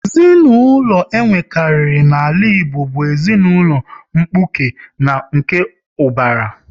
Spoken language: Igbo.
Ezinaụlọ e nwekari n'ala Igbo bụ ezinụlọ mkpuke na nke ubara